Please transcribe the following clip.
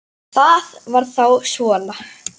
Það var þá svona.